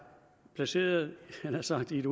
placeret havde jeg nær sagt i et